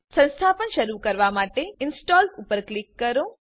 સંસ્થાપન શરુ કરવા માટે ઇન્સ્ટોલ ઉપર ક્લિક કરો